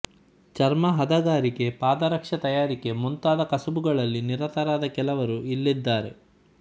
ಚರ್ಮ ಹದಗಾರಿಕೆ ಪಾದರಕ್ಷೆ ತಯಾರಿಕೆ ಮುಂತಾದ ಕಸಬುಗಳಲ್ಲಿ ನಿರತರಾದ ಕೆಲವರು ಇಲ್ಲಿದ್ದಾರೆ